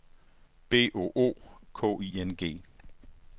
B O O K I N G